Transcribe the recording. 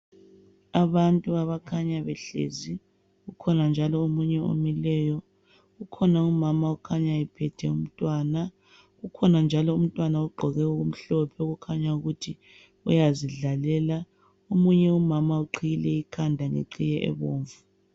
Abantu abakhanya behlezi ukhona njalo omunye omileyo. Kukhona umama okhanya ephethe umntwana. Kukhona njalo umntwana ogqoke okumhlophe okukhanya ukuthi uyazidlalela. Omunye umama uqhiyile ikhanda ngeqhiye ebomvu.